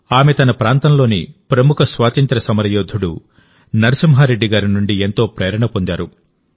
ఆమె తన ప్రాంతంలోని ప్రముఖ స్వాతంత్ర్య సమరయోధుడు నరసింహారెడ్డి గారి నుండి ఎంతో ప్రేరణ పొందారు